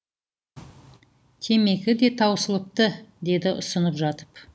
темекі де таусылыпты деді ұсынып жатып